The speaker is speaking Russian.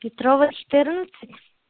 петрова четырнадцать